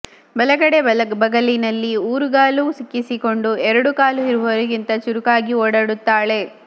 ಬಲಗಡೆ ಬಗಲಿನಲ್ಲಿ ಊರುಗಾಲು ಸಿಕ್ಕಿಸಿಕೊಂಡು ಎರಡು ಕಾಲೂ ಇರುವವರಿಗಿಂತ ಚುರುಕಾಗಿ ಓಡಾಡುತ್ತಾಳೆ